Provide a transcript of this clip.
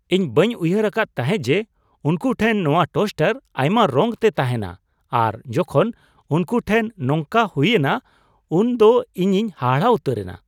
ᱤᱧ ᱵᱟᱹᱧ ᱩᱭᱦᱟᱹᱨ ᱟᱠᱟᱫ ᱛᱟᱦᱮᱸᱜ ᱡᱮ ᱩᱱᱠᱩ ᱴᱷᱮᱱ ᱱᱚᱶᱟ ᱴᱳᱥᱴᱟᱨ ᱟᱭᱢᱟ ᱨᱚᱝᱛᱮ ᱛᱟᱦᱮᱱᱟ ᱟᱨ ᱡᱚᱠᱷᱚᱱ ᱩᱱᱠᱩ ᱴᱷᱮᱱ ᱱᱚᱝᱠᱟ ᱦᱩᱭᱮᱱᱟ ᱩᱱᱫᱚ ᱤᱧᱤᱧ ᱦᱟᱦᱟᱲᱟ ᱩᱛᱟᱹᱨᱮᱱᱟ ᱾